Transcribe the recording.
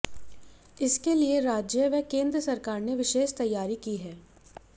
इसके लिए राज्य व केंद्र सरकार ने विशेष तैयारी की है